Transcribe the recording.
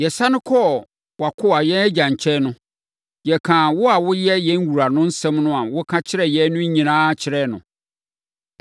Yɛsane kɔɔ wʼakoa, yɛn agya nkyɛn no, yɛkaa wo a woyɛ yɛn wura no nsɛm a woka kyerɛɛ yɛn no nyinaa kyerɛɛ no.